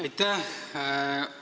Aitäh!